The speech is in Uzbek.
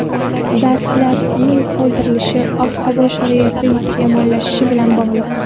Darslarning qoldirilishi ob-havo sharoiti yomonlashishi bilan bog‘liq.